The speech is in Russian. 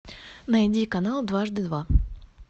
найди канал дважды два